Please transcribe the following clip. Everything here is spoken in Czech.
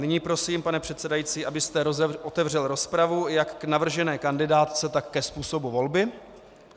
Nyní prosím, pane předsedající, abyste otevřel rozpravu jak k navržené kandidátce, tak ke způsobu volby.